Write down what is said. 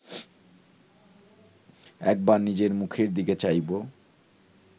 একবার নিজের মুখের দিকে চাইব